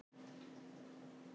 Spyrjandi bætir einnig við: